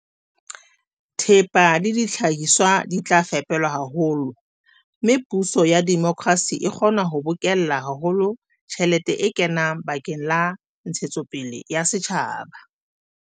Thepa le dihlahiswa di tla fepelwa haholo, mme puso ya demokrasi e kgona ho bokella haholo tjhelete e kenang bakeng la ntshetsopele ya setjhaba.